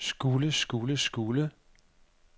skulle skulle skulle